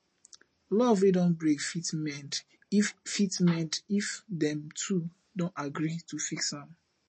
luv wey don brake fit mend if fit mend if dem two don agree to fix am